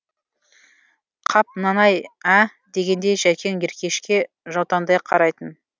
қап мынаны ай ә дегендей жәкең еркешке жаутаңдай қарайтын